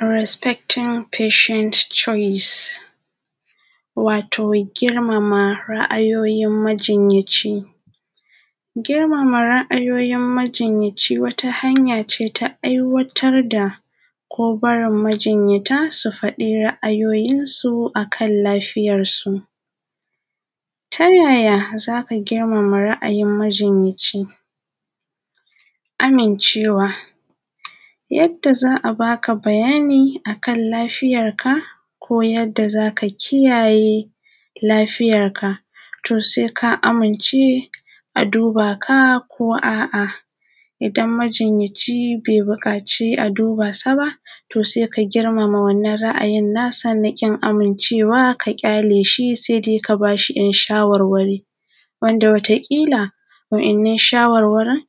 Respecting patient choice, wato girmama ra’ayoyin majinyaci, girmama ra’ayoyin majinyaci wata hanya ce ta aiwatar da ko barin majinyata su faɗi ra’ayoyin su akan lafiyar su, ta yaya za ka girmama ra’ayin majinyaci? Amincewa yadda za a baka bayani akan lafiyar ka ko yadda zaka kiyaye lafiyar ka to sai ka amince a duba ka ko a’a idan majinyaci bai bukaci a duba sa ba to sai ka girmama wannan ra’ayin nasa na kin amincewa ka gyale shi sai dai ka bashi ‘yan shawarwari wanda wata kila waɗannan shawarwarin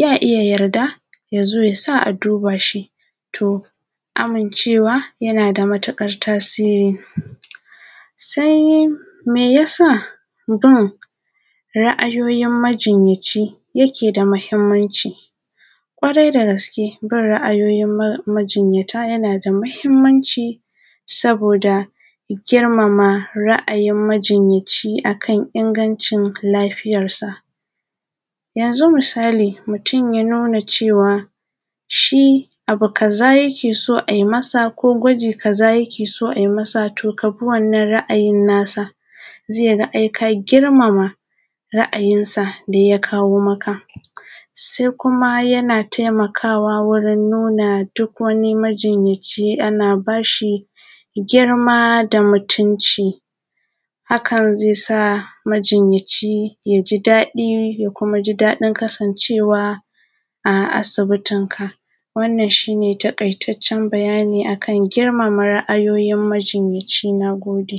ya iya yadda yazo yasa a duba shi, to amincewa yana da matuƙar tasiri, sai me yasa bin ra’ayoyin majinyaci yake da muhimanci gwarai da gaske bin ra’ayoyin majinyata yana da muhimmanci saboda girmama ra’ayin majinyaci akan ingancin lafiyarsa, yanzu misali mutum ya nuna cewa shi abu kaza yake so aimasa ko gwaji kaza yake so ai masa to kabi wannan ra’ayin nasa zai ga ai ka girmama ra’ayinsa da ya kawo maka, sai kuma yana taimakawa wurin nuna duk wani majnyaci ana bashi girma da mutunci hakan zai sa majinyaci ya ji ɗadi ya kuma ji ɗadin kasancewa a asibitinka, wannan shi ne taƙaitacen bayani a kan girmama ra’ayoyin majinyaci, na gode.